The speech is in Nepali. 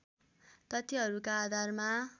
तथ्यहरूका आधारमा